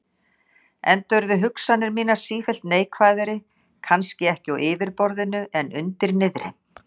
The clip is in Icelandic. Enda urðu hugsanir mínar sífellt neikvæðari, kannski ekki á yfirborðinu en undir niðri.